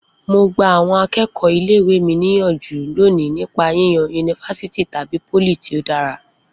Mo gba àwọn akẹ́kọ̀ọ́ ilé ìwé mi níyànjú lónìí nípa yíyan yunifásítì tàbí pólì tí ó dára